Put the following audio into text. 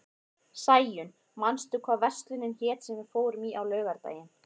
Sæunn, manstu hvað verslunin hét sem við fórum í á laugardaginn?